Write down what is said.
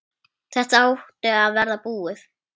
Þetta átti að vera búið.